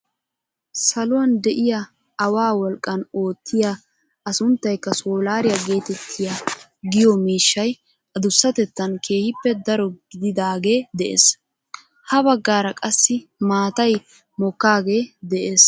Saluwaan de'iyaa awaa wolqqan oottiyaa a sunttaykka soolariyaa getettiyaa giyoo miishshay adusatettaan keehippe daro gididaagee de'ees. ha baggaara qassi matay mokkaagee de'ees.